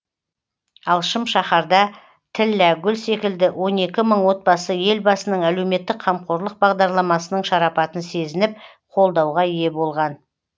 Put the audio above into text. ал шым шаһарда тілләгүл секілді он екі мың отбасы елбасының әлеуметтік қамқорлық бағдарламасының шарапатын сезініп қолдауға ие болған